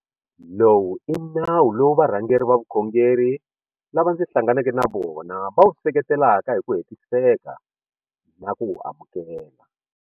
Lowu i nawu lowu varhangeri va vukhongeri lava ndzi hlanganeke na vona va wu seketelaka hi ku hetiseka na ku wu amukela.